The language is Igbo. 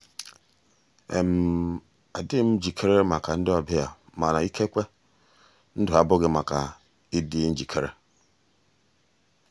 adịghị m njikere maka ndị ọbịa mana ikekwe ndụ abụghị maka ịdị njikere.